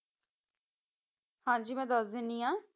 ਹਨ ਜੀ ਮਾ ਦਸ ਦਾਨੀ ਆ